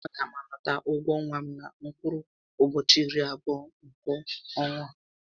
A gá m anata ụgwọ ọnwa m na mkpụrụ ụbọchị irí abụọ nkè ọ́nwá á